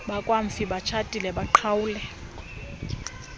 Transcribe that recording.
bakamfi batshatile baqhawule